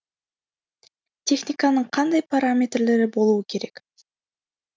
техниканың қандай параметрлері болуы керек